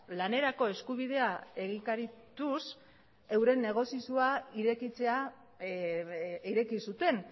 lanerako eskubidea egikarituz euren negozioa irekitzea ireki zuten